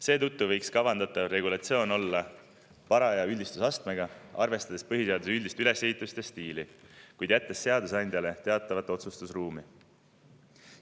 Seetõttu võiks kavandatav regulatsioon olla paraja üldistusastmega, arvestades põhiseaduse üldist ülesehitust ja stiili, kuid jättes seadusandjale teatava otsustusruumi.